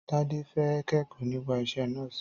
Tádé fẹ́ kẹ́kọ̀ọ́ nípa isẹ́ nọ́ọ̀sì.